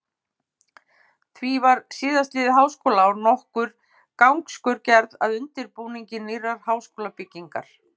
Því var síðastliðið háskólaár nokkur gangskör gerð að undirbúningi nýrrar háskólabyggingar.